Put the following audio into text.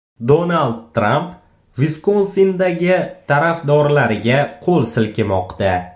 Donald Tramp Viskonsindagi tarafdorlariga qo‘l silkimoqda.